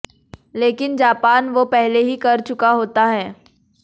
लेकिन जापान वो पहले ही कर चुका होता है